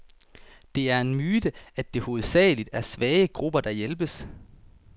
Det er en myte, at det hovedsageligt er svage grupper, der hjælpes.